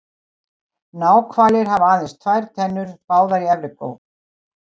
Náhvalir hafa aðeins tvær tennur, báðar í efri vör.